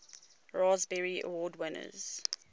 raspberry award winners